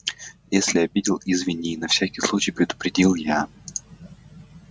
если обидел извини на всякий случай предупредил я